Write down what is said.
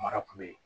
Mara kun bɛ yen